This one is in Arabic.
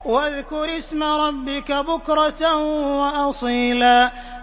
وَاذْكُرِ اسْمَ رَبِّكَ بُكْرَةً وَأَصِيلًا